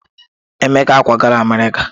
Emeka ákwàgala Amerịka.